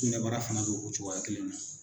Kunɛbara fana be o cogoya kelen na.